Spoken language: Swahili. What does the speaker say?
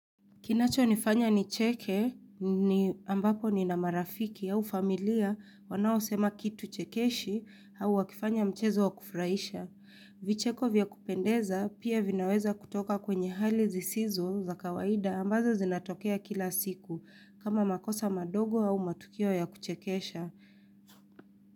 Kinacho nifanya ni cheke ni ambapo nina marafiki au familia wanao sema kitu chekeshi au wakifanya mchezo wa kufuraisha. Vicheko vya kupendeza pia vinaweza kutoka kwenye hali zisizo za kawaida ambazo zinatokea kila siku kama makosa madogo au matukio ya kuchekesha.